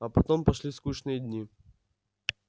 а потом пошли скучные дни